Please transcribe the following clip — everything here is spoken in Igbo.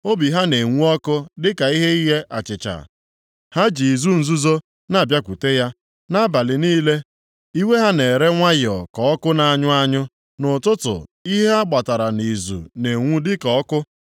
Obi ha na-enwu ọkụ dịka ihe ighe achịcha, ha ji izu nzuzo na-abịakwute ya. Nʼabalị niile iwe ha na-ere nwayọọ ka ọkụ na-anyụ anyụ, nʼụtụtụ ihe ha gbatara nʼizu na-enwu dịka ọkụ.